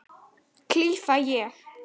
klifa ég.